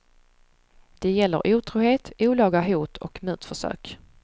De gäller otrohet, olaga hot och mutförsök.